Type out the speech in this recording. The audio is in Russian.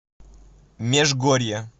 межгорье